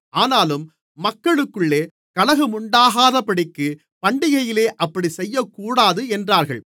ஆனாலும் மக்களுக்குள்ளே கலகமுண்டாகாதபடிக்குப் பண்டிகையிலே அப்படிச் செய்யக்கூடாது என்றார்கள்